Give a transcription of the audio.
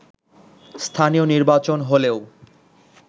স্থানীয় নির্বাচন হলেও